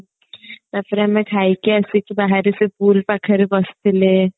ତାପରେ ଆମେ ଖାଇକି ଆସିକି ବାହାରେ ସେ pool ପାଖରେ ବସିଥିଲେ